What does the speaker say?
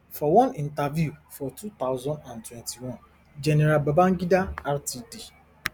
for one interview for two thousand and twenty-one gen babangida rtd